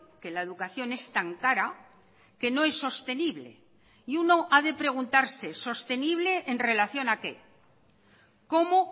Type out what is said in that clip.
que la educación es tan cara que no es sostenible y uno ha de preguntarse sostenible en relación a qué cómo